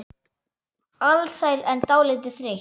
Alsæl en dálítið þreytt.